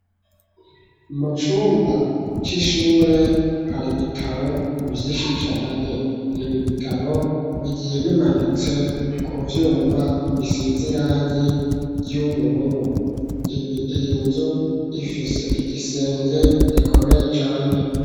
Mu cumba c'ishure, hari ibitabo vyinshi cane, ibi bitabo bigiye bimanitse ku vyuma bisize irangi ry'ubururu, iyinzu ifise igisenge gikomeye cane.